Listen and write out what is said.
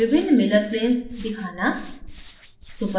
विभिन्न miller planes दिखाना